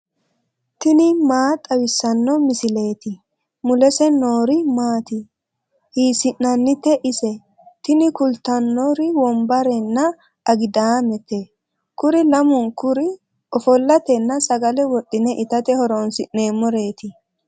tini maa xawissanno misileeti ? mulese noori maati ? hiissinannite ise ? tini kultannori wombarenna agidaamete. kuri lamunkuri ofollatenna sagale wodhine itate horoonsi'neemmoreeti.